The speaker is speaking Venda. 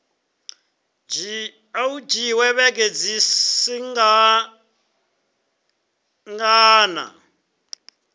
dzhia vhege dzi swikaho nṋa